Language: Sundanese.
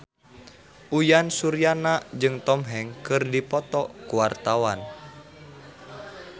Uyan Suryana jeung Tom Hanks keur dipoto ku wartawan